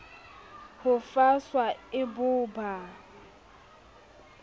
ho faswa e bo ba